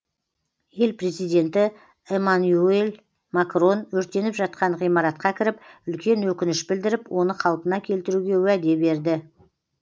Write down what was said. ел президенті эмманюэль макрон өртеніп жатқан ғимаратқа кіріп үлкен өкініш білдіріп оны қалпына келтіруге уәде берді